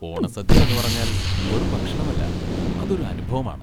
ഓണസദ്യ എന്നുപറഞ്ഞാൽ വെറും ഭക്ഷണമല്ല, അതൊരു അനുഭവമാണ്.